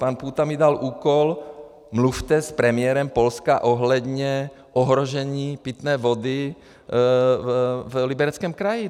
Pan Půta mi dal úkol: Mluvte s premiérem Polska ohledně ohrožení pitné vody v Libereckém kraji.